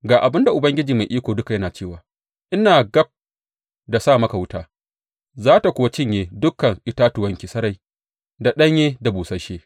Ga abin da Ubangiji Mai Iko Duka yana cewa ina gab da sa maka wuta, za tă kuwa cinye dukan itatuwanki sarai, da ɗanye da busasshe.